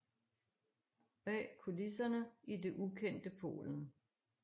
Bag kulisserne i det ukendte Polen